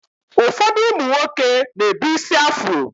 Ụfọdụ ụmụ nwoke na-ebu ísí afro